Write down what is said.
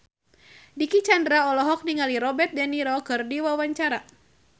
Dicky Chandra olohok ningali Robert de Niro keur diwawancara